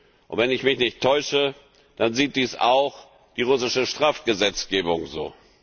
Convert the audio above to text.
Und wenn ich mich nicht täusche, dann sieht das auch die russische Strafgesetzgebung so.